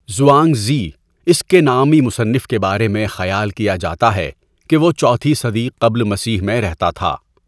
ژوانگ زی، اس کے نامی مصنف کے بارے میں خیال کیا جاتا ہے کہ وہ چوتھی صدی قبل مسیح میں رہتا تھا۔